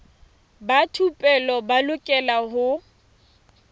ba thupelo ba lokela ho